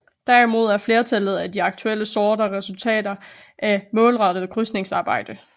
Derimod er flertallet af de aktuelle sorter resultater af et målrettet krydsningsarbejde